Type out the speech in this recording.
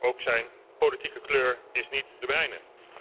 Ook zijn politieke kleur is niet de mijne.